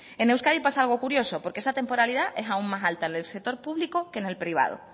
en euskadi pasa algo curioso porque esa temporalidad es aún más alta en el sector público que en el privado